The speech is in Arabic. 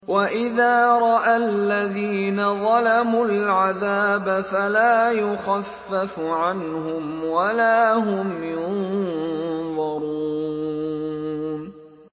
وَإِذَا رَأَى الَّذِينَ ظَلَمُوا الْعَذَابَ فَلَا يُخَفَّفُ عَنْهُمْ وَلَا هُمْ يُنظَرُونَ